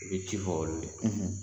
I bɛ ci fɔ olu de ye